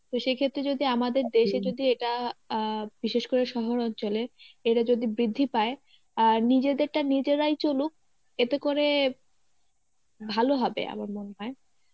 তো সেই ক্ষেত্রে যদি আমাদের দেশে যদি এটা আহ বিশেষ করে শহর অঞ্চলের এটা যদি বৃদ্ধি পায় আর নিজেদেরটা নিজেরাই চলুক এতে করে ভালো হবে আমার মনে হয়.